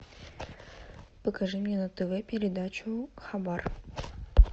покажи мне на тв передачу хабар